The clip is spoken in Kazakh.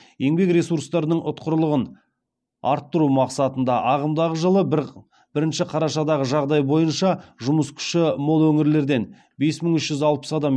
еңбек ресурстарының ұтқырлығын арттыру мақсатында ағымдағы жылғы бірінші қарашадағы жағдай бойынша жұмыс күші мол өңірлерден бес мың үш жүз алпыс адам